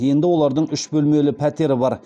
енді олардың үш бөлмелі пәтері бар